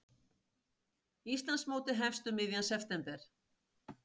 Íslandsmótið hefst um miðjan september